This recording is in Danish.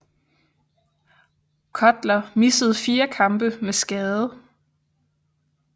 Cutler missede 4 kampe med skade